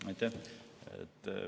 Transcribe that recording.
Aitäh!